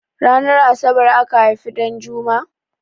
Ranar asabar aka haifi Ɗanjuma?